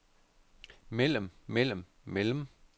mellem mellem mellem